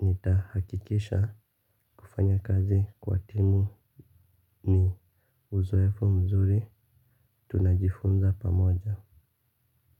Nitahakikisha kufanya kazi kwa timu ni uzoefu mzuri. Tunajifunza pamoja.